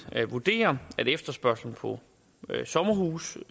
vurderer at efterspørgslen på sommerhuse